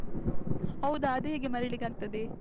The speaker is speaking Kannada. ಹೌದಾ, ಅದೇಗೆ ಮರಿಲಿಕ್ಕಾಗ್ತದೆ.